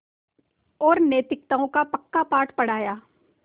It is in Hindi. और नैतिकताओं का पक्का पाठ पढ़ाया